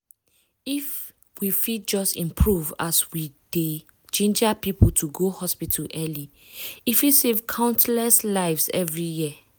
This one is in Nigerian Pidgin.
if we fit just improve as we dey ginger people to go hospital early e fit save countless lives every year.